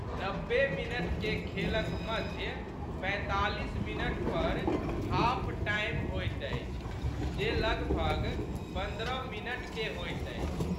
नब्बे मिनटके खेलक मध्य पैंतालीस मिनट पर हाफ टाइम होइत अछि जे लगभग पन्द्रह मिनटके होइत अछि।